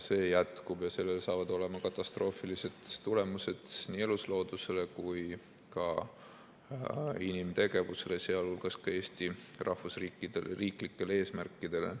See jätkub ja sellel saavad olema katastroofilised tulemused nii elusloodusele kui ka inimtegevusele, sh ka Eesti riiklikele eesmärkidele.